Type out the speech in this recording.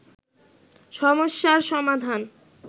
সমস্যার সমাধান